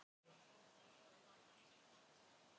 Valrún, hvað er á áætluninni minni í dag?